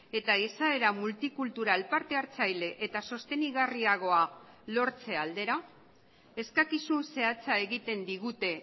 eta izaera multikultural parte hartzaile eta sostengarriagoa lortze aldera eskakizun zehatza egiten digute